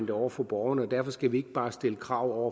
over for borgerne og derfor skal vi ikke bare stille krav